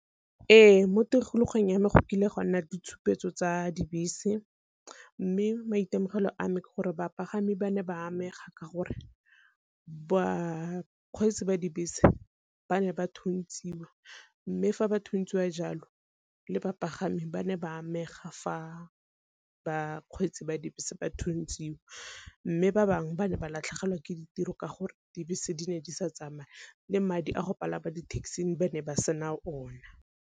Ee mo tikologong ya me go kile gwa nna ditshupetso tsa dibese, mme maitemogelo a me ke gore bapagami ba ne ba amega ka gore bakgweetsi ba dibese ba ne ba thuntsiwa mme fa ba thuntsiwa jalo le bapagami ba ne ba amega fa ba kgweetsi ba dibese ba thuntsiwa. Mme ba bangwe ba ne ba latlhegelwa ke ditiro ka gore dibese di ne di sa tsamaya le madi a go palama di-taxi ba ne ba sena o na.